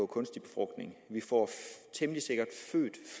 kunstig befrugtning vi får temmelig sikkert